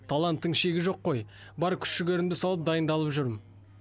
таланттың шегі жоқ қой бар күш жігерімді салып дайындалып жүрмін